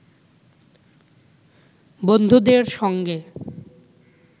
বন্ধুদের সঙ্গে